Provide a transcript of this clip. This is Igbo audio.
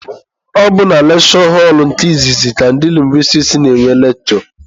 Ọ bụ na lekshure họlụ nke izizi ka ndị lingwistiks na-enwe lekshure.